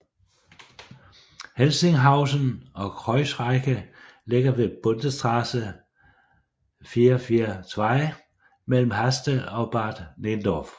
Helsinghausen og Kreuzriehe ligger ved Bundesstraße 442 mellem Haste og Bad Nenndorf